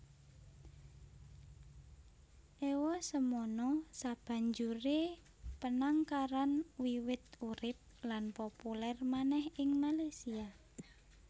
Ewasemono sabanjuré penangkaran wiwit urip lan populèr manèh ing Malaysia